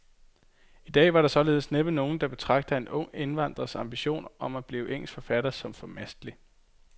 I dag vil der således næppe være nogen, der betragter en ung indvandrers ambition om at blive engelsk forfatter som formastelig.